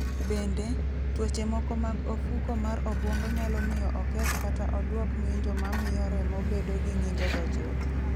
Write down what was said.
Bende, tuoche moko mag ofuko mar obwongo nyalo miyo oketh kata odwok ng'injo ma miyo remo bedo gi ng'injogo chuth.